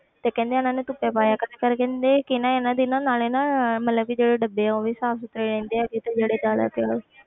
ਤੇ ਕਹਿੰਦੇ ਇਹਨਾਂ ਨੂੰ ਧੁੱਪੇ ਪਾਇਆ ਕਰ ਕਹਿੰਦੇ ਕਿ ਨਾ ਇਹਨਾਂ ਦੀ ਨਾ ਨਾਲੇ ਨਾ ਮਤਲਬ ਵੀ ਜਿਹੜੇ ਡੱਬੇ ਆ ਉਹ ਵੀ ਸਾਫ਼ ਸੁੱਥਰੇ ਰਹਿੰਦੇ ਆ